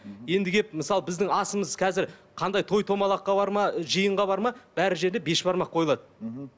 енді келіп мысалы біздің асымыз қазір қандай той томалаққа барма жиынға барма барлық жерде бешбармақ қойылады мхм